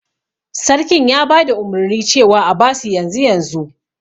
Sarkin ya bada umurni cewa a abasu yanzu yanzu